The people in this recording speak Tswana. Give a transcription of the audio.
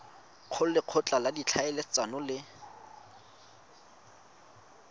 go lekgotla la ditlhaeletsano le